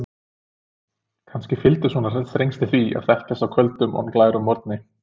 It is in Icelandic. Kannski fylgdu svona þrengsli því að kveðjast á köldum og glærum morgni.